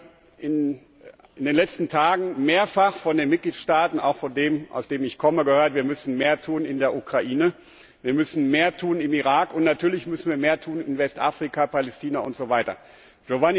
Ich habe in den letzten Tagen mehrfach von den Mitgliedstaaten, auch von dem, aus dem ich komme, gehört Wir müssen mehr tun in der Ukraine, wir müssen mehr tun im Irak, und natürlich müssen wir mehr tun in Westafrika, Palästina usw.